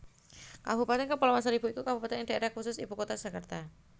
Kabupatèn Kepulauan Seribu iku Kabupatèn ing Daerah Khusus Ibukutha Jakarta